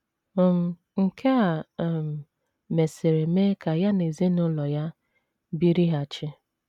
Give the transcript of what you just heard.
um Nke a um mesịrị mee ka ya na ezinụlọ ya birighachi.